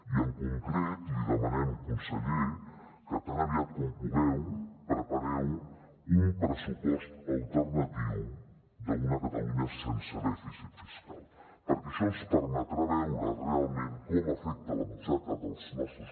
i en concret li demanem conseller que tan aviat com pugueu prepareu un pressupost alternatiu d’una catalunya sense dèficit fiscal perquè això ens permetrà veure realment com afecta la butxaca dels nostres